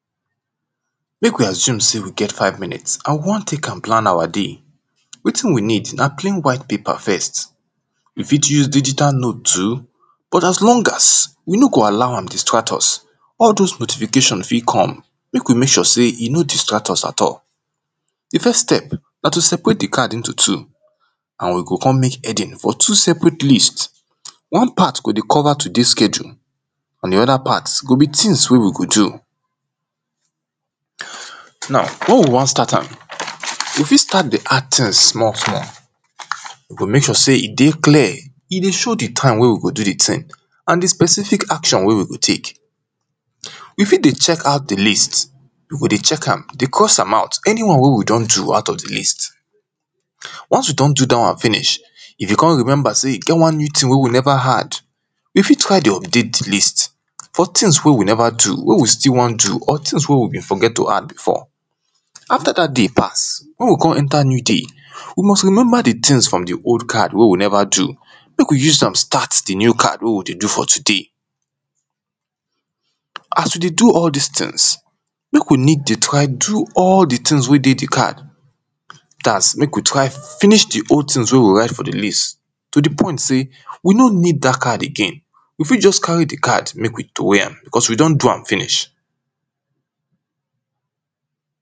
Make we assume sey we get five minutes and we wan take am plan our day wetin we need na clean wihite paper first. We fit use digital note too but as long as we no go allow am distract us, All those notifications fit come make we make sure sey e no distract us at all. Di first step na to separate di card into two and we go come make heading for two separate list. One part go dey cover today schedule and di other part go be things wey we go do Now wey we wan start am, we fit start di hard things small small we go make sure sey e dey clear, e dey show di time wey we go do the thing and di specific action wey we go take. We fit dey check out di list we go dey check am dey cross am out, anyone wey we don do out of di list once we don do dat one finish, if we come remember sey e get one new thing wey we never add make we try to update list for things wey we never do, wey we still wan do or things wey we be forget to add before After dat day pass wey we come enter new day, we must remember di things from di old card wey we never do Make we use am start di new card wey we dey do for today As we do all this things, make need dey try do all di things wey dey di card dats make we try finish di old things wey we write for di list to di point sey we no need dat card again we fit just carry di card make we troway am because we don do am finish